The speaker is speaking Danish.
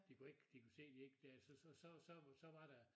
De kunne ikke de kunne se de ikke da så så så var der